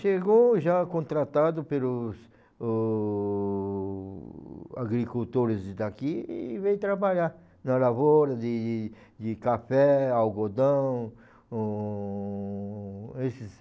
Chegou já contratado pelos o agricultores daqui e veio trabalhar na lavoura de de de café, algodão, um... esses .